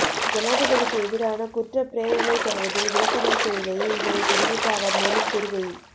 ஜனாதிபதிக்கு எதிரான குற்றப் பிரேரணைத் தொடர்பில் விளக்கமளிக்கையிலேயே இதனை தெரிவித்த அவர் மேலும் கூறுகையில்